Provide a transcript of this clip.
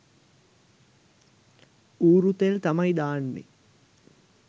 ඌරු තෙල් තමයි දාන්නේ